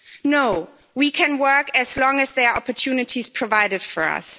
No, we can work as long as there are opportunities provided for us.